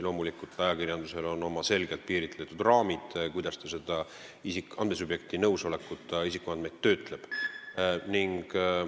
Loomulikult on ajakirjandusel oma selgelt piiritletud raamid, kuidas ta andmesubjekti nõusolekuta isikuandmeid töötleb.